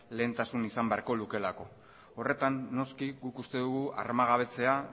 lehentasuna izan beharko lukeelako horretan noski guk uste dugu armagabetzea